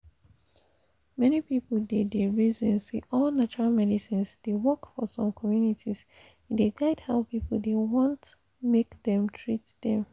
many people dey dey reason say all natural medicines dey work for some communities e de guide how people dey want make dem treat them.